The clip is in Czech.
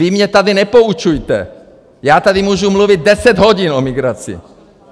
Vy mě tady nepoučujte, já tady můžu mluvit deset hodin o migraci.